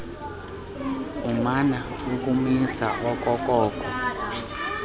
umana ukumisa okokoko